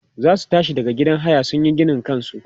zasu tashi daga gidan haya sunyi ginin kansu